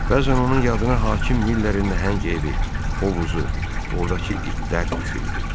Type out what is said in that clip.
Bəzən onun yadına hakim Millerin nəhəng evi, hovuzu, ordakı itlər düşürdü.